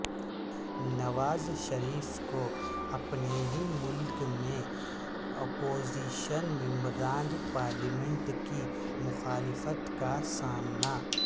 نواز شریف کو اپنے ہی ملک میں اپوزیشن ممبران پارلیمنٹ کی مخالفت کا سامنا